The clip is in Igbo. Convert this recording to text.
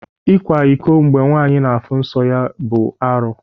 Ikwa iko mgbe nwanyị na-afụ nsọ ya ọ bụ arụ?